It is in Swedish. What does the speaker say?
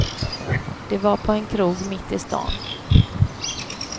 Det var på en krog mitt i stan.